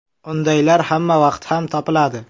Undaylar hamma vaqt ham topiladi.